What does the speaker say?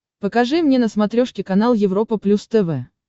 покажи мне на смотрешке канал европа плюс тв